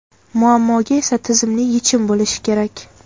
muammoga esa tizimli yechim bo‘lishi kerak.